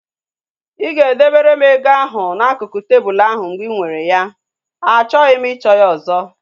Ị ga e debere m ego ahu n'akụkụ tebụlu ahu mgbe ị nwere ya? Achọghị m ịchọ ya ọzọ